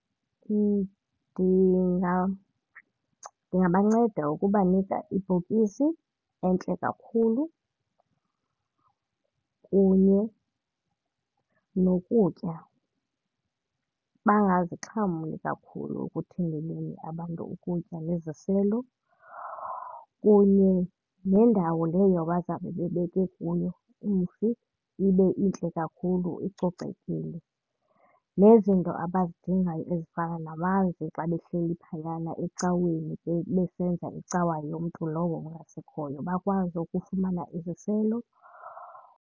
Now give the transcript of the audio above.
Ndingabanceda ukubanika ibhokisi entle kakhulu kunye nokutya. Bangazixhamli kakhulu ekuthengeleni abantu ukutya neziselo kunye nendawo leyo abazawube bebeke kuyo umfi ibe intle kakhulu icocekile. Nezinto abazidingayo ezifana namanzi xa behleli phayana ecaweni besenza icawa yomntu lowo ungasekhoyo bakwazi ukufumana iziselo.